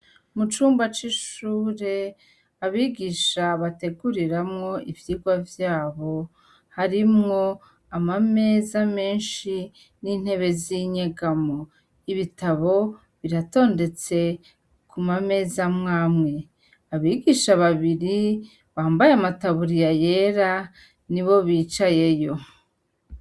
Mu cumba c'ishure, abigisha bateguriramwo ivyigwa vyabo, harimwo amameza menshi n'intebe z'inyegamo. Ibitabo biratondetse ku mameza amwe amwe; abigisha babiri, bambaye amataburiya yera, nibo bicayeyo.